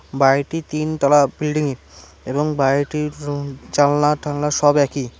বাড়িটি তিনতালা বিল্ডিং এবং বাড়িটির রুম জালনা টালনা সব একই।